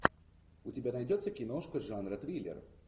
у тебя найдется киношка жанра триллер